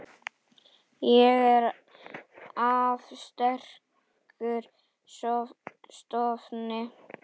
Ég er af sterkum stofni.